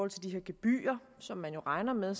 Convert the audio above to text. til de gebyrer som man jo regner med